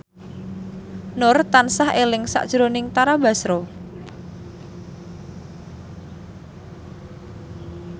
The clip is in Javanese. Nur tansah eling sakjroning Tara Basro